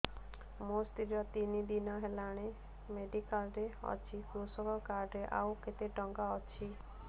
ମୋ ସ୍ତ୍ରୀ ତିନି ଦିନ ହେଲାଣି ମେଡିକାଲ ରେ ଅଛି କୃଷକ କାର୍ଡ ରେ ଆଉ କେତେ ଟଙ୍କା ଅଛି